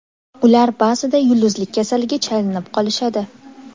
Ular ba’zida yulduzlik kasaliga chalinib qolishadi.